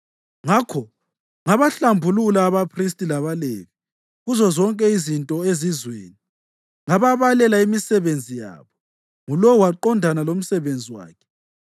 Ngakho ngabahlambulula abaphristi labaLevi kuzozonke izinto zezizweni, ngababela imisebenzi yabo, ngulowo waqondana lomsebenzi wakhe.